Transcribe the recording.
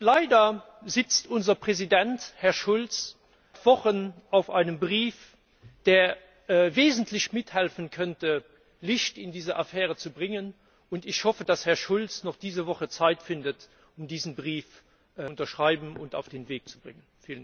Leider sitzt unser Präsident, Herr Schulz, seit Wochen auf einem Brief, der wesentlich mithelfen könnte, Licht in diese Affäre zu bringen, und ich hoffe, dass Herr Schulz noch diese Woche Zeit findet, diesen Brief zu unterschreiben und auf den Weg zu bringen.